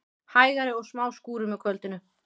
Hægari og smá skúrir með kvöldinu